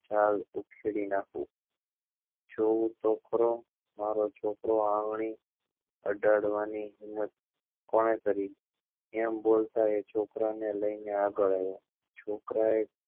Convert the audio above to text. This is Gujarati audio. છળ ઉખેડી નાખું જેહું છોકરો મારા છોકરા ને આંગળી અડાડવા ની હિમ્મત કોને કરી એમ બોલતા એ છોકરા ને લઇ ને અગલ આવ્યો છોકરા એ